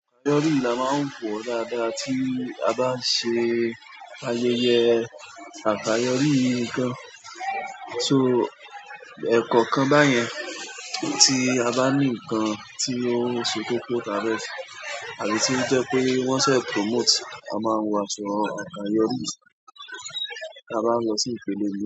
Àkàyọ́rí la máa ń wọ dáadáa tí a bá ń ṣe ayẹyẹ àkàyọ́rí ǹkan. So ẹ̀koọ̀kan báyẹn tí a bá ní ǹkan tí ó ń ṣe kókó tàfe se, àbí tí ó jẹ́ pé wọ́n sẹ́ promote, a máa ń wọ aṣọ àkàyọ́rí, ti a ba ń lọ sí ìpele mii.